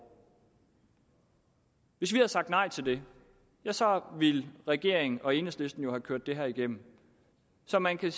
hvis vi havde sagt nej til det ja så ville regeringen og enhedslisten jo have kørt det her igennem så man kan